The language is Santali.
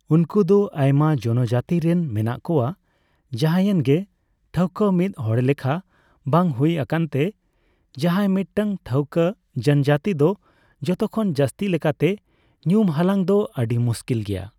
ᱩᱱᱠᱩ ᱫᱚ ᱟᱭᱢᱟ ᱡᱚᱱᱚᱡᱟᱛᱤ ᱨᱮᱱ ᱢᱮᱱᱟᱜ ᱠᱚᱣᱟ, ᱡᱟᱦᱟᱸᱭᱮᱱ ᱜᱮ; ᱴᱷᱟᱹᱣᱠᱟᱹ ᱢᱤᱫ ᱦᱚᱲᱞᱮᱠᱷᱟ ᱵᱟᱝ ᱦᱩᱭ ᱟᱠᱟᱱ ᱛᱮ, ᱡᱟᱦᱟᱸᱭ ᱢᱤᱫᱴᱟᱝ ᱴᱷᱟᱹᱣᱠᱟᱹ ᱡᱚᱱᱡᱟᱹᱛᱤ ᱫᱚ ᱡᱚᱛᱚᱠᱷᱚᱱ ᱡᱟᱹᱥᱛᱤ ᱞᱮᱠᱟᱛᱮ ᱧᱩᱢ ᱦᱟᱞᱟᱝ ᱫᱚ ᱟᱹᱰᱤ ᱢᱩᱥᱠᱤᱞ ᱜᱮᱭᱟ ᱾